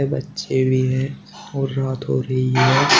बच्चे भी हैं और रात हो रही है।